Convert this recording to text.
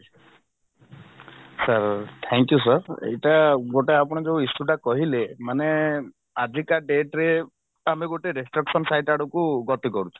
sir thank you sir ଏଇଟା ଗୋଟେ ଆପଣ ଯଉ issue ଟା କହିଲେ ମାନେ ଆଜିକା dateରେ ତ ଆମେ ଗୋଟେ restriction side ଆଡକୁ ଗତି କରୁଛେ